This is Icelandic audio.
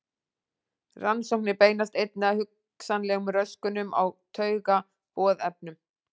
Rannsóknir beinast einnig að hugsanlegum röskunum á taugaboðefnum.